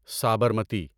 Sabarmati